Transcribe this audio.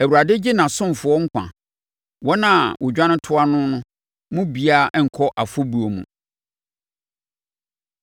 Awurade gye nʼasomfoɔ nkwa; wɔn a wɔdwane toa noɔ no mu biara renkɔ afɔbuo mu.